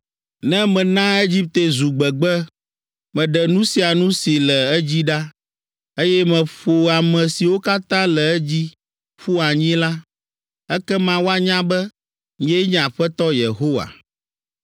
“Ne mena Egipte zu gbegbe, Meɖe nu sia nu si le edzi ɖa, Eye meƒo ame siwo katã le edzi ƒu anyi la, Ekema woanya be, nyee nye Aƒetɔ Yehowa.